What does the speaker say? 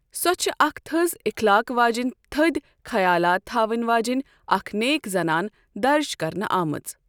سۄ چھےٚ اکھ تٔھز اخلاق واجِنۍ تٔھدۍ خیالات تھاون واجینۍ اكھ نیک زنان درج كرنہٕ آمٕژ ۔